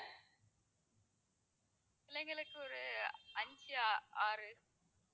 பிள்ளைங்களுக்கு ஒரு அஞ்சு ஆறு